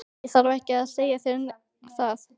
Ég þarf ekki að segja þér það.